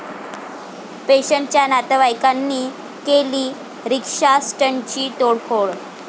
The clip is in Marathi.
पेशंटच्या नातईवाईकांनी केली रिक्षास्टँडची तोडफोड